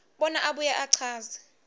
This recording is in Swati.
bona abuye achaze